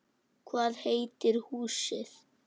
Hvað heitir húsið?